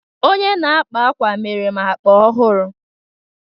Onye na-akpa ákwà mere m akpa ọhụrụ